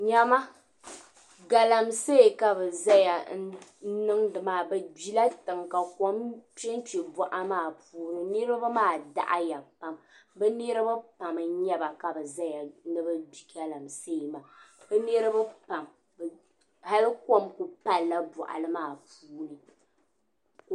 Nyama Galamse ka bɛ niŋdi maa bɛ gbila tiŋa ka kom kpenkpe boɣa maa puuni niriba maa daɣaya pam bɛ niriba pam n nyɛba ka bɛ zaya ni bɛ gbi Galamse maa bɛ niriba pam hali kom kuli palila boɣali maa puuni.